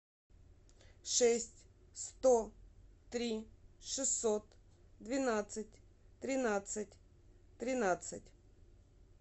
шесть сто три шестьсот двенадцать тринадцать тринадцать